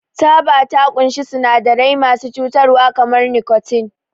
Taba ta ƙunshi sinadarai masu cutarwa kamar nikotin.